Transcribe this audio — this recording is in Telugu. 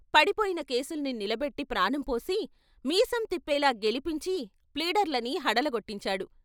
పడిపోయిన కేసుల్ని నిలబెట్టి ప్రాణంపోసి మీసం తిప్పేలా గెలిపించి ప్లీడర్లని హడలగొట్టించాడు.